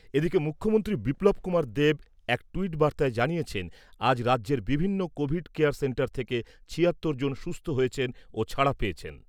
এদিকে , মুখ্যমন্ত্রী বিপ্লব কুমার দেব এক ট্যুইট বার্তায় জানিয়েছেন , আজ রাজ্যের বিভিন্ন কোভিড কেয়ার সেন্টার থেকে ছিয়াত্তর জন সুস্থ হয়েছেন ও ছাড়া পেয়েছেন ।